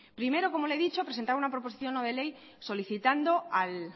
primero como le he dicho presentar una proposición no de ley solicitando al